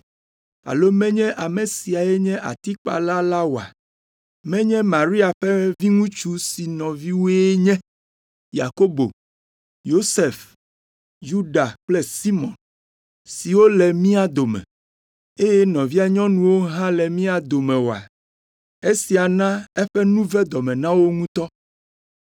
Alo menye ame siae nye atikpala la oa? Menye Maria ƒe viŋutsu si nɔviwoe nye Yakobo, Yosef, Yuda kple Simɔn, siwo le mía dome, eye nɔvia nyɔnuwo hã le mía dome oa?” Esia na eƒe nu ve dɔme na wo ŋutɔ.